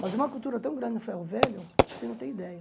Mas é uma cultura tão grande no Ferro Velho que você não tem ideia.